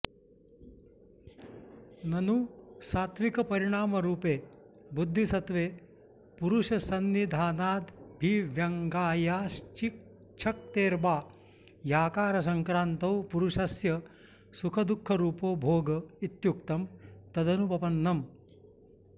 ननु सात्त्विकपरिणामरूपे बुद्धिसत्त्वे पुरुषसन्निधानादभिव्यङ्ग्यायाश्चिच्छक्तेर्बाह्याकारसंक्रान्तौ पुरुषस्य सुखदुःखरूपो भोग इत्युक्तम् तदनुपपन्नम्